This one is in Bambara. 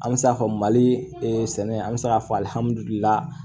An bɛ se k'a fɔ mali sɛnɛ an bɛ se k'a fɔ